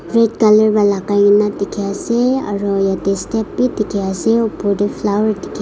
red colour wa lagai nah dikhi ase aro yeteh step bhi dikhi ase opor deh flower dikhi--